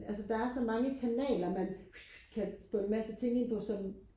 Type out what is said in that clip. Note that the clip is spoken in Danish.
altså der er så mange kanaler man kan få en masse ting ind på som